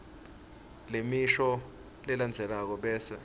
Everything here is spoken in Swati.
lemisho lelandzelako bese